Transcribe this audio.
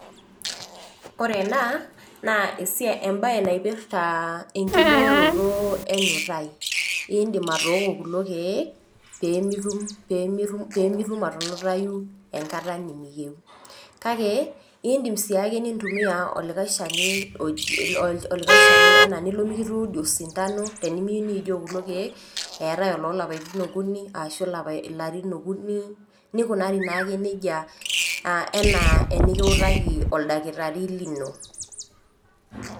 ore ena naa ebae naipirta enkibooroto enutai, iidim atooko kulo keek pee mitum pee mitum atunutayu enkata nimiyieu. kake iidim sii ake nintumia olikae shani oji. anaa tenilo mikituudi osindano, tenimiyieu niijoo kulo keek. eetae oloo lapaitin okuni ashu ilarin okuni nikunari naake nejia.aa enaa enikutaki oldakitari lino.